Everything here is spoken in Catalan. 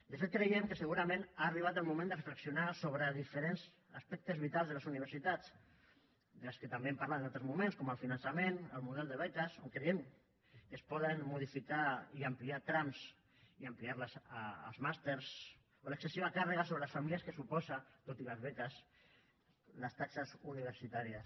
de fet creiem que segurament ha arribat el moment de reflexionar sobre diferents aspectes vitals de les universitats de què també hem parlat en altres moments com el finançament el model de beques on creiem que es poden modificar i ampliar trams i ampliar los als màsters o l’excessiva càrrega sobre les famílies que suposen tot i les beques les taxes universitàries